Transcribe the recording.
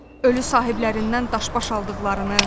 Ölü sahiblərindən daşbaş aldıqlarını.